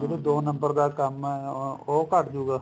ਜਿਹੜਾ ਦੋ number ਦਾ ਕੰਮ ਐ ਉਹ ਘੱਟ ਜੁਗਾ